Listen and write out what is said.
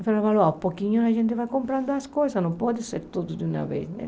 Ele falou, ó, um pouquinho a gente vai comprando as coisas, não pode ser tudo de uma vez, né?